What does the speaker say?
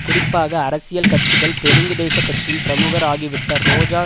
குறிப்பாக அரசியல் கட்சிகள் தெலுங்குதேச கட்சியின் பிரமுகர் ஆகிவிட்ட ரோஜா